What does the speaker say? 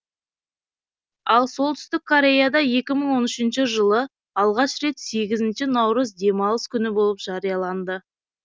ал солтүстік кореяда екі мың он үшінші жылы алғаш рет сегізінші наурыз демалыс күні болып жарияланды